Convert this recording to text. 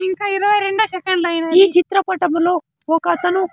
ఇంకా ఇరవై రెండు సెకండ్లు అయినవి ఈ చిత్ర పటములో ఒకతను.